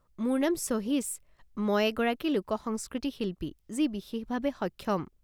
মোৰ নাম সহীশ, মই এগৰাকী লোকসংস্কৃতি শিল্পী যি বিশেষভাৱে সক্ষম।